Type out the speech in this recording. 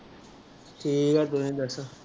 ਠੀਕ ਆ ਤੁਸੀਂ ਦੱਸੋ।